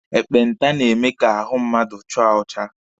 Ekpenta na-eme ka ahụ mmadụ chaa ọcha.